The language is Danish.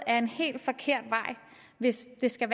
ad en helt forkert vej hvis det skal